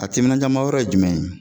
A timinanjamayɔrɔ ye jumɛn ye?